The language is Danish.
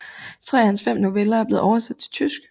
Tre af hans fem noveller er blevet oversat til tysk